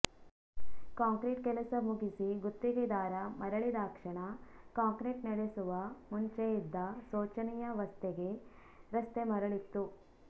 concrete ಕೆಲಸ ಮುಗಿಸಿ ಗುತ್ತಿಗೆದಾರ ಮರಳಿದಾಕ್ಷಣ ಕಾಂಕ್ರೀಟ್ ನಡೆಸುವ ಮುಂಚೆಯಿದ್ದ ಶೋಚನೀಯಾ ವಸ್ಥೆಗೆ ರಸ್ತೆ ಮರಳಿತ್ತು